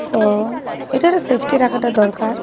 অ্যা এটা একটা সেফটি রাখাটা দরকার।